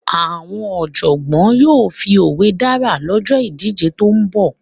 Àwọn Ọ̀jọ̀gbọ́n yóò fi òwe dára lọ́jọ́ ìdíje tó ń bọ̀